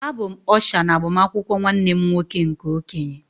Abụ m Ọsha na agbamakwụkwọ nwanne m nwoke nke okenye